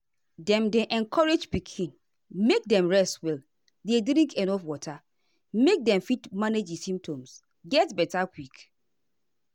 dem dey encourage pikin make dem rest well dey drink enuf water make dem fit manage di symptoms get beta quick.